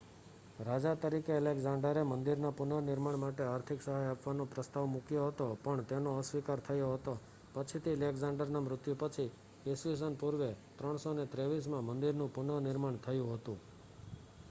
રાજા તરીકે એલેક્ઝાંડરે મંદિરના પુનર્નિર્માણ માટે આર્થિક સહાય આપવાનો પ્રસ્તાવ મૂક્યો હતો પણ તેનો અસ્વીકાર થયો હતો પછીથી એલેક્ઝાંડરના મૃત્યુ પછી ઈસ્વી સન પૂર્વે 323માં મંદિરનું પુનર્નિર્માણ થયું હતું